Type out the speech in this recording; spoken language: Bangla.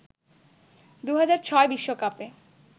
২০০৬ বিশ্বকাপে